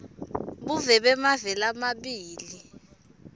buve bemave lamabili